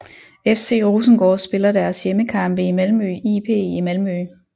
FC Rosengård spiller deres hjemmekampe i Malmö IP i Malmö